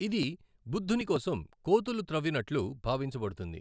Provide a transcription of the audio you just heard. ఇది బుద్ధుని కోసం కోతులు త్రవ్వినట్లు భావించబడుతుంది.